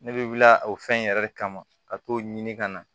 Ne bɛ wuli o fɛn in yɛrɛ de kama ka t'o ɲini ka na